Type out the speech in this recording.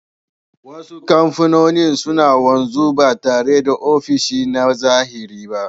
Wasu kamfanoni suna wanzu ba tare da ofishi na zahiri ba